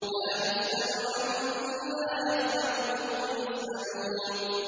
لَا يُسْأَلُ عَمَّا يَفْعَلُ وَهُمْ يُسْأَلُونَ